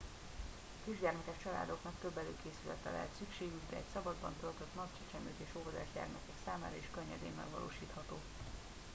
a kisgyermekes családoknak több előkészületre lehet szükségük de egy szabadban eltöltött nap csecsemők és óvodás gyermekek számára is könnyedén megvalósítható